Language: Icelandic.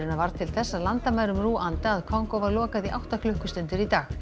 varð til þess að landamærum Rúanda að Kongó var lokað í átta klukkustundir í dag